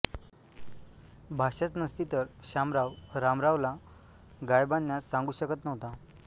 भाषाच नसती तर शामराव रामरावला गाय बांधण्यास सांगू शकत नव्हता